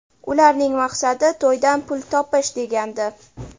Ularning maqsadi to‘ydan pul topish”, degandi.